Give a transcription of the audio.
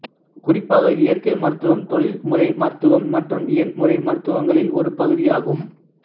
குறிப்பாக இயற்கை மருத்துவம் தொழில்முறைமருத்துவம் மற்றும் இயன்முறைமருத்துவங்களில் ஒரு பகுதியாகும்